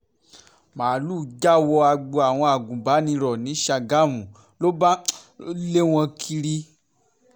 máàlùú já wọ ọgbà àwọn agùnbànìrò ní ṣàgámù ló bá um ń lé wọn kiri um